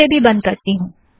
इसे भी बंध करती हूँ